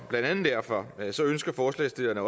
blandt andet derfor ønsker forslagsstillerne